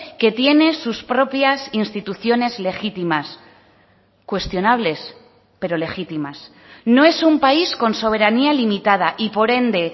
que tiene sus propias instituciones legítimas cuestionables pero legítimas no es un país con soberanía limitada y por ende